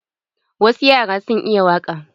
Wasu yaran sun iya waƙa.